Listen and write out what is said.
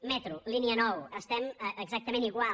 metro línia nou estem exactament igual